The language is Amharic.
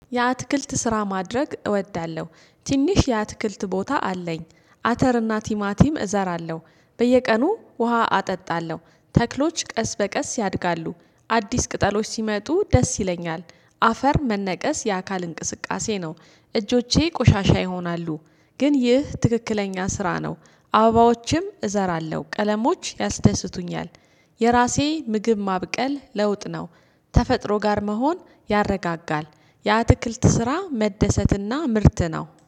የአትክልት ስራ ማድረግ እወዳለሁ ትንሽ የአትክልት ቦታ አለኝ አተርና ቲማቲም እዘራለሁ። በየቀኑ ውሃ አጠጣለሁ ተክሎች ቀስ በቀስ ያድጋሉ አዲስ ቅጠሎች ሲመጡ ደስ ይለኛል። አፈር መነቀስ የአካል እንቅስቃሴ ነው። እጆቼ ቆሻሻ ይሆናሉ። ግን ይህ ትክክለኛ ስራ ነው። አበባዎችም እዘራለሁ ቀለሞች ያስደስቱኛል። የራሴ ምግብ ማብቀል ለውጥ ነው። ተፈጥሮ ጋር መሆን ያረጋጋል። የአትክልት ስራ መደሰትና ምርት ነው